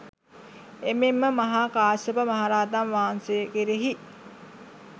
එමෙන්ම මහා කාශ්‍යප මහරහතන් වහන්සේ කෙරෙහි